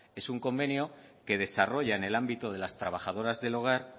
es un convenio que desarrolla en el ámbito de las trabajadoras del hogar